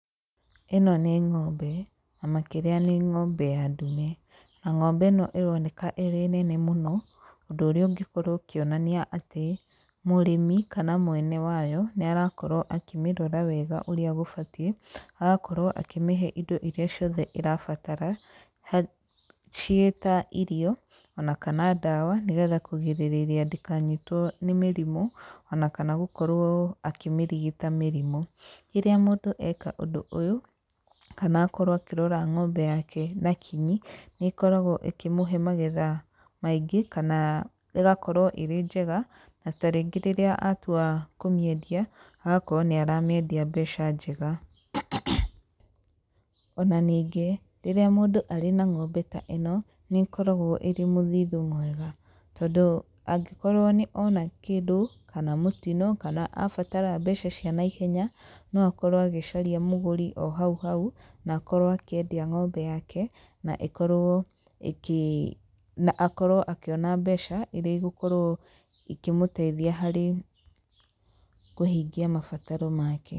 Ĩno nĩ ng'ombe na makĩria nĩ ng'ombe ya ndume, na ng'ombe ĩno ĩroneka ĩrĩ nene mũno, ũndũ ũrĩa ũngĩkorwo ũkĩonania atĩ mũrĩmi kana mwene wayo nĩarakorwo akĩmĩrora wega ũrĩa gũbatiĩ, agakorwo akĩmĩhe indo iria ciothe ĩrabatara, ciĩta irio ona kana ndawa, nĩgetha kũgirĩrĩria ndĩkanyitwo nĩ mĩrimũ, onakana gũkorwo akĩmĩrigita mĩrimũ. Rĩrĩa mũndũ eka ũndũ ũyũ, kana akorwo akĩrora ng'ombe yake na kinyi, nĩ ĩkoragwo ĩkĩmũhe magetha maingĩ, kana ĩgakorwo ĩrĩ njega, na ta rĩngĩ rĩrĩa atua kũmĩendia, agakorwo nĩ aramĩendia mbeca njega. Ona ningĩ rĩrĩa mũndũ arĩ na ng'ombe ta ĩno, nĩ ĩkoragwo ĩrĩ mũthithũ mwega, tondũ angĩkorwo nĩ ona kĩndũ kana mũtino kana abatara mbeca cia naihenya, no akorwo agĩcaria mũgũri o hau hau na akorwo akĩendia ng'ombe yake, na ĩkorwo ĩkĩ na akorwo akĩona mbeca iria igũkorwo ikĩmũteithia harĩ kũhingia mabataro make.